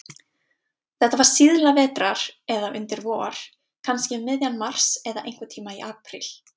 Þetta var síðla vetrar eða undir vor, kannski um miðjan mars, eða einhverntíma í apríl.